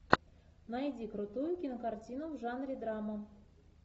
найди крутую кинокартину в жанре драма